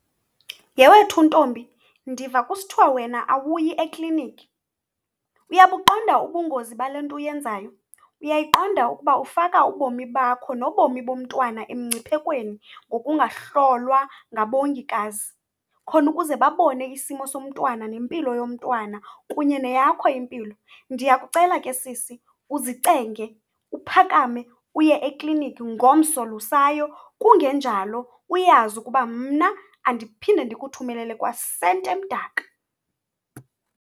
Yhe wethu, ntombi, ndiva kusithwa wena awuyi ekliniki. Uyabuqonda ubungozi bale nto uyenzayo? Uyayiqonda ukuba ufaka ubomi bakho nobomi bomntwana emngciphekweni ngokungahlolwa ngabongikazi, khona ukuze babone isimo somntwana nempilo yomntwana kunye neyakho impilo? Ndiyakucela ke, sisi, uzicenge, uphakame uye ekliniki ngomso losayo. Kungenjalo, uyazi ukuba mna andiphinde ndikuthumelele kwa senti emdaka.